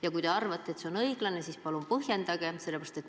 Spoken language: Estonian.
Ja kui te arvate, et see on õiglane, siis palun põhjendage.